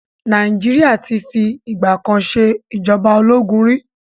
Nàìjíríà ti fi ìgbà kan ṣe ìjọba ológun ri.